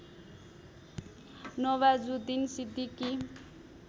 Nawazuddin Siddiqui